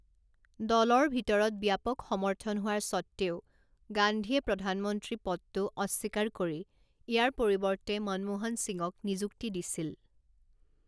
দলৰ ভিতৰত ব্যাপক সমৰ্থন হোৱাৰ স্বত্ত্বেও গান্ধীয়ে প্ৰধানমন্ত্ৰী পদটো অস্বীকাৰ কৰি ইয়াৰ পৰিৱৰ্তে মনমোহন সিঙক নিযুক্তি দিছিল।